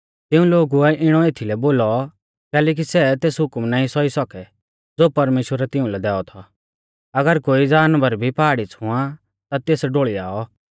तिऊं लोगुऐ इणौ एथीलै बोलौ कैलैकि सै तेस हुकम नाईं सौई सौकै ज़ो परमेश्‍वरै तिउंलै दैऔ थौ अगर कोई गूंड़ भी पहाड़ी छ़ुआं ता तेस ढोल़ियाऔ